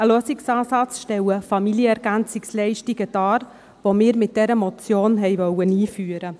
Ein Lösungsansatz stellen Familien-Ergänzungsleistungen dar, welche wir mit dieser Motion einführen wollten.